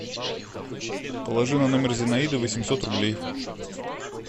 положи на номер зинаиды восемьсот рублей